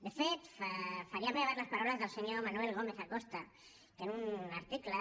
de fet faria meves les paraules del senyor manuel gómez acosta que en un article